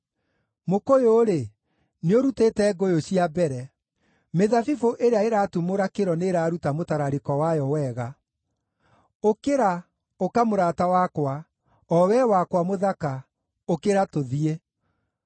Mũkũyũ-rĩ, nĩũrutĩte ngũyũ cia mbere; mĩthabibũ ĩrĩa ĩratumũra kĩro nĩĩraruta mũtararĩko wayo wega. Ũkĩra, ũka mũrata wakwa; o wee wakwa mũthaka, ũkĩra tũthiĩ.”